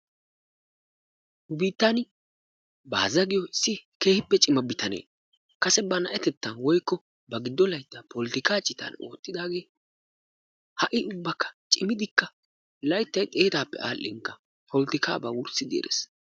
Nu Biittan Baaza giyo issi keehippe cimma bitanee, kase bana'atettan woykko ba giddo layttan polotikka citan oottidaage, ha'i ubba cimmidikka layttaay xeettappe aadhdhinkka polotikkaba wurssidi erees.